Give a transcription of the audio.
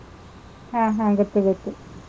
ಹ್ಮ್ ಹ್ಮ್, ಗೊತ್ತು ಗೊತ್ತು.